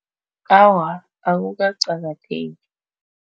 Awa, akukaqakatheki